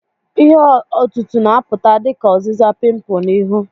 Ihe otutu na-apụta dị ka ọzịza pimpu na ihu.